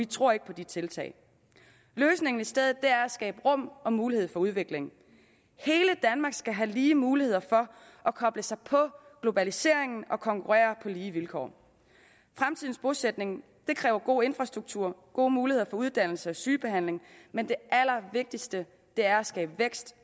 tror ikke på de tiltag løsningen er i stedet at skabe rum og mulighed for udvikling hele danmark skal have lige muligheder for at koble sig på globaliseringen og konkurrere på lige vilkår fremtidens bosætning kræver god infrastruktur gode muligheder for uddannelse og sygebehandling men det allervigtigste er at skabe vækst